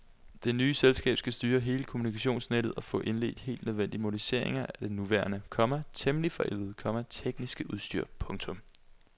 Det nye selskab skal styre hele det kommunikationsnettet og få indledt helt nødvendige moderniseringer af det nuværende, komma temmelig forældede, komma tekniske udstyr. punktum